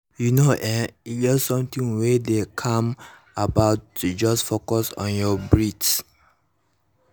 you know[um]e get something wey dey calming about to just focus only on your breath